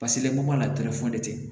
Paseke mɔgɔ la tɛ